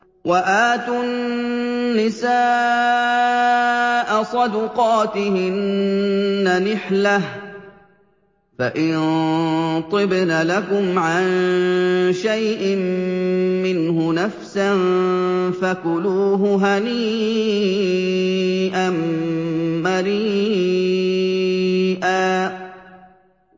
وَآتُوا النِّسَاءَ صَدُقَاتِهِنَّ نِحْلَةً ۚ فَإِن طِبْنَ لَكُمْ عَن شَيْءٍ مِّنْهُ نَفْسًا فَكُلُوهُ هَنِيئًا مَّرِيئًا